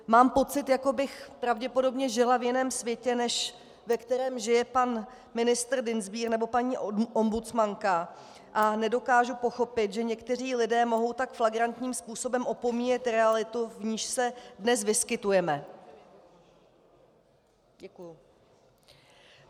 Mám pocit, jako bych pravděpodobně žila v jiném světě, než ve kterém žije pan ministr Dienstbier nebo paní ombudsmanka, a nedokážu pochopit, že někteří lidé mohou tak flagrantním způsobem opomíjet realitu, v níž se dnes vyskytujeme.